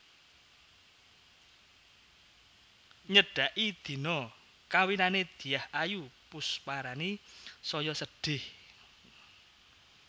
Nyedaki dina kawinane Dyah Ayu Pusparani saya sedih